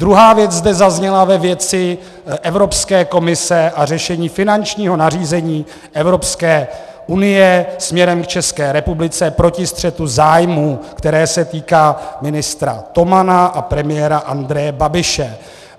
Druhá věc zde zazněla ve věci Evropské komise a řešení finančního nařízení Evropské unie směrem k České republice proti střetu zájmů, které se týká ministra Tomana a premiéra Andreje Babiše.